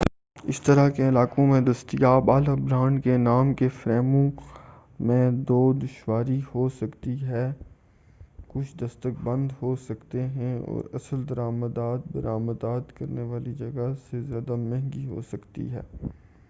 اس طرح کے علاقوں میں دستیاب اعلی برانڈ کے نام کے فریموں میں دو دشواری ہوسکتی ہے کچھ دستک بند ہو سکتے ہیں اور اصل درآمدات برآمدات کرنے والی جگہ سے زیادہ مہنگی ہوسکتی ہیں